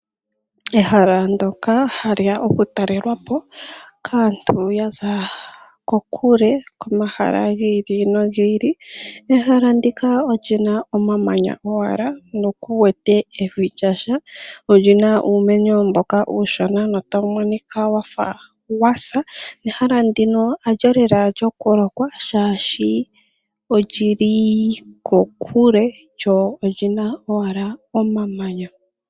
Ehala ndyoka haliya oku talelwapo kaantu yaza kokule komahala gili no gili. Ehala ndika olyina omamanya owala na kuwete nando evi lyasha, olina wo uumeno mboka uushona no tawu monika wafa wa sa. Nehala ndika halyo lela lyoku lokwa oshoka olili kokule lyo olina ashike omamanya.